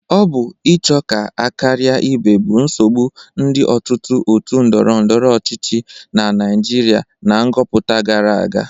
Ọ bụ ịcho ka a karia ibe bụ nsogbụ ndị ọtụtụ otu ndọrọndọrọ ọchịchị na Naịjịrịa na nghọpụta gara aga.